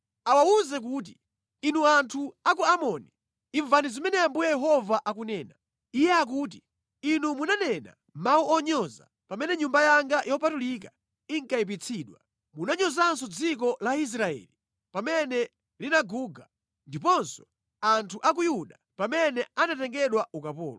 Awawuze kuti, ‘Inu anthu a ku Amoni, imvani zimene Ambuye Yehova akunena. Iye akuti: Inu munanena mawu onyoza pamene Nyumba yanga yopatulika inkayipitsidwa. Munanyozanso dziko la Israeli pamene linaguga ndiponso anthu a ku Yuda pamene anatengedwa ukapolo.